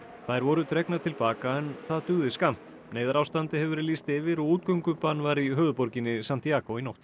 þær voru dregnar til baka en það dugði skammt neyðarástandi hefur verið lýst yfir og útgöngubann var í höfuðborginni Santíagó í nótt